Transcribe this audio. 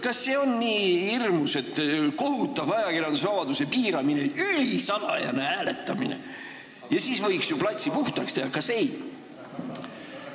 Kas see on nii kohutav ajakirjandusvabaduse piiramine – kui meil on ülisalajane hääletamine, siis võiks ju platsi puhtaks teha?